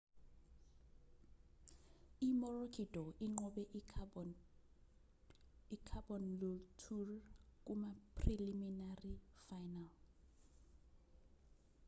i-maroochydore inqobe i-caboonlture kuma-preliminary final